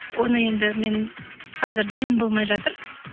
оны енді мен қазір дайын болмай жатыр